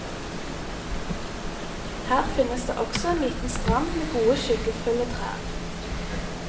Her finnes det også en liten strand med gode skyggefulle trær.